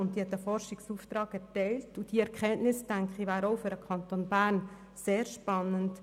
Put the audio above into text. Winterthur hat einen Forschungsauftrag erteilt, und diese Erkenntnisse wären für den Kanton Bern ebenfalls sehr spannend.